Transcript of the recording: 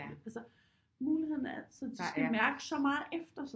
Altså mulighederne er altid de skal mærke så meget efter